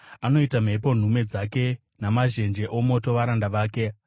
Anoita mhepo nhume dzake, namazhenje omoto varanda vake.